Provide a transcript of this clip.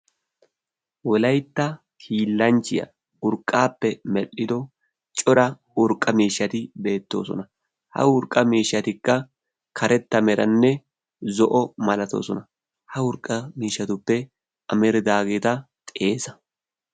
wolaytta hiillancchiyaa urqqaappe medhdhido cora urqqa miishshati beettoosona ha urqqa miishshatikka karetta meranne zo'o malatoosona ha urqqa miishshatuppe ameridaageeta xeesa